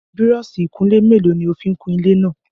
Búrọ́ọ̀ṣì ìkunlé mélòó ni o fi ń kun ilé náà?